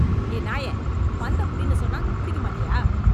ஏ நாயே ! பந்த புடின்னு சொன்னா , புடிக்க மாட்டியா